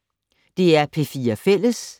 DR P4 Fælles